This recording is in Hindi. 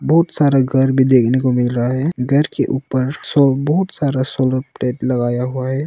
बहुत सारे घर भी देखने को मिल रहा है घर के ऊपर बहुत सारा सोलर प्लेट लगाया हुआ है।